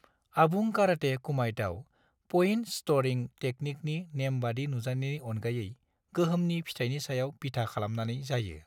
आबुं काराटे कुमाइटआव point scoring तेकनिकनि नेमबायदि नुजानायनि अनगायै गोहोमनि फिथायनि सायाव बिथा खालामनानै जायो।